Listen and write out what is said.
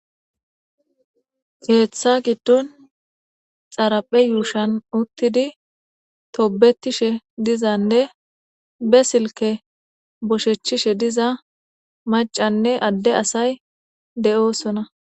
keeththa giddon xaraphe yuushan uttidi tobetishe dizanne be silke boshechchishe diza macanne adde asay de7oosona